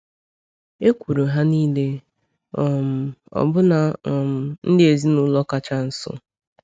Ekwuru ha niile, um ọbụna um ndị ezinụlọ kacha nso.